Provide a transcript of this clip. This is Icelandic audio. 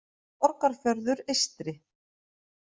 Borgarfjörður eystri.